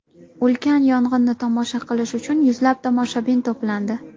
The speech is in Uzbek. Ulkan yong‘inni tomosha qilish uchun yuzlab tomoshabin to‘plandi.